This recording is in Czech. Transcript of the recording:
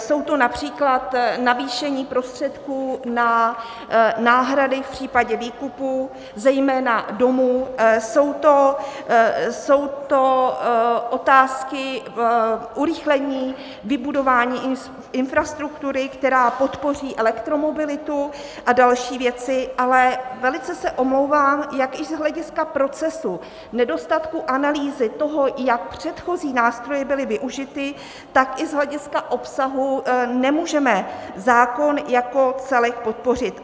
Je to například navýšení prostředků na náhrady v případě výkupů, zejména domů, jsou to otázky urychlení vybudování infrastruktury, která podpoří elektromobilitu, a další věci, ale velice se omlouvám, jak i z hlediska procesu nedostatku analýzy toho, jak předchozí nástroje byly využity, tak i z hlediska obsahu nemůžeme zákon jako celek podpořit.